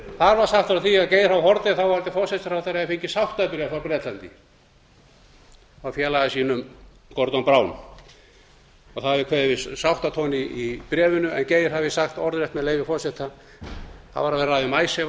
þar var sagt frá því að geir h haarde fyrrverandi forsætisráðherra hefði fengið sáttabréf frá bretlandi frá félaga sínum gordon brown og það hefði kveðið við sáttatón í bréfinu en geir hafði sagt orðrétt með leyfi forseta það var verið að ræða um icesave að